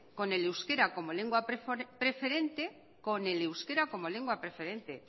con el euskara como lengua preferente con el euskara como lengua preferente